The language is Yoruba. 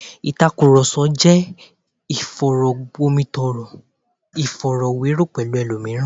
Ìtàkùrọ̀sọ jẹ́ ìfọ̀rọ̀gbomitoro, ìfọ̀rọ̀wérọ̀ pẹ̀lú ẹlòmíràn